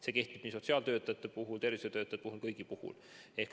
See kehtib sotsiaaltöötajate puhul, tervishoiutöötajate puhul, kõigi puhul.